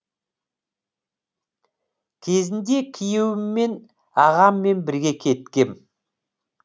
кезінде күйеуіммен ағаммен бірге кеткем